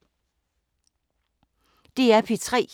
DR P3